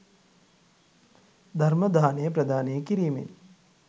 ධර්ම දානය ප්‍රදානය කිරීමෙන්